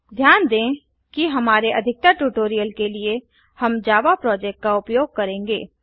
ध्यान दें कि हमारे अधिकतर ट्यूटोरियल के लिए हम जावा प्रोजेक्ट का उपयोग करेंगे